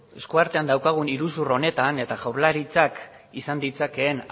esku artean daukagun iruzur honetan eta jaurlaritzak izan ditzakeen